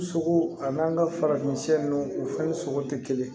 Sogo ani n'an ka farafin u fɛn sogo tɛ kelen ye